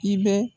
I bɛ